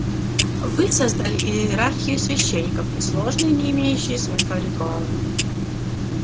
вы создали иерархию священников и сложные не имеющие смысла ритуалы